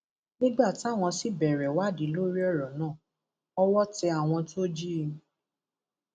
nígbà táwọn sì bẹrẹ ìwádìí lórí ọrọ náà owó tẹ àwọn tó jí i